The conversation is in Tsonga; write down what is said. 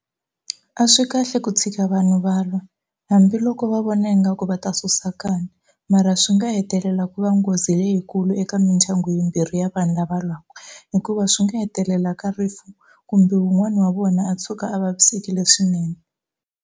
A swi kahle ku tshika vanhu va lwa hambiloko va vona ingaku va ta susa nkanu mara swi nga hetelela ku va nghozi leyikulu eka mindyangu yimbirhi ya vanhu lava lwaku hikuva swi nga hetelela ka rifu kumbe wun'wani wa vona a tshuka a vavisekile swinene.